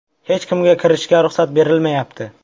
Hech kimga kirishga ruxsat berilmayapti.